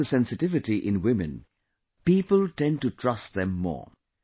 Because of the sensitivity in women, people tend to trust them more